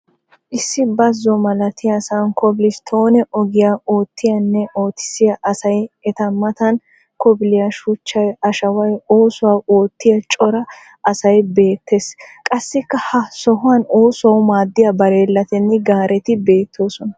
Issi bazo malatiyasan kobil stoone ogiya oottiyanne oottisiya asay, eta mataan kobiliya shuchchay, ashaaway, oosuwa oottiya cora asay beettees. Qassikka ha sohuwaan oosuwawu maaddiya bareelatinne gaareti beettoosona.